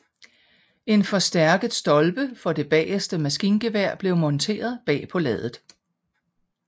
En forstærket stolpe for det bageste maskingevær blev monteret bag på laddet